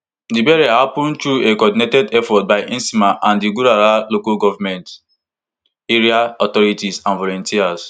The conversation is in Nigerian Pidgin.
di burial happun through a coordinated effort by nsema and di gurara local goment area authorities and volunteers